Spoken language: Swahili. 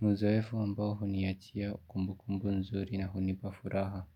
Muzoefu ambao huniachia kumbu kumbu nzuri na hunipa furaha.